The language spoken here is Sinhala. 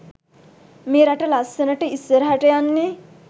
මේ රට ලස්සනට ඉස්සරහට යන්නේ.